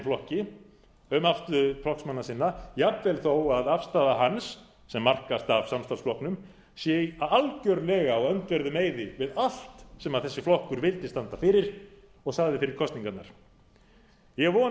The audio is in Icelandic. flokki um afstöðu flokksmanna sinna jafnvel þó að afstaða hans sem markast af samstarfsflokknum sé algjörlega á öndverðum meiði við allt sem þessi flokkur vildi standa fyrir og sagði fyrir kosningarnar ég